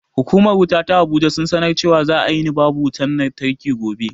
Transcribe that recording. Hukumar wuta ta abuja sun sanar cewa za a yini babu wutan lantarki gobe